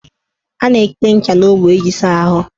A na-ete ncha n' ogbo iji saa ahụ.